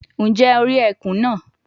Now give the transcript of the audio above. Njẹ o ri ẹkun naa